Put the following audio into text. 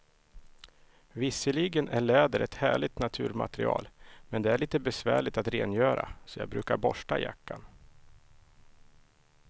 Visserligen är läder ett härligt naturmaterial, men det är lite besvärligt att rengöra, så jag brukar borsta jackan.